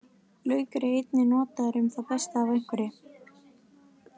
Laukur er einnig notaður um það besta af einhverju.